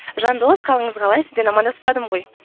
жандос қалыңыз қалай сізбен амандаспадым ғой